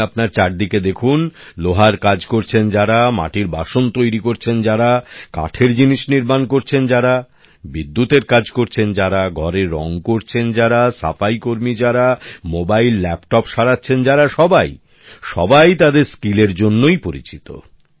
আপনি আপনার চারিদিকে দেখুন লোহার কাজ করছেন যারা মাটির বাসন তৈরি করছেন যারা কাঠের জিনিস নির্মাণ করছেন যারা বিদ্যুতের কাজ করছেন যারা ঘরে রং করছেন যারা সাফাই কর্মী যারা মোবাইল ল্যাপটপ সারাচ্ছেন যারা সবাইই তাদের দক্ষতার জন্যই পরিচিত